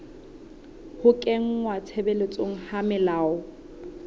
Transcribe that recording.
ho kenngwa tshebetsong ha melao